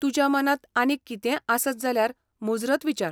तुज्या मनांत आनीक कितेंय आसत जाल्यार मुजरत विचार.